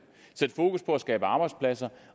arbejdspladser